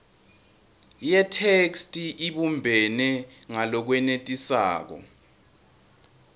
yetheksthi ibumbene ngalokwenetisako